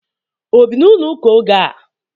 Obi na ulo uka ogea?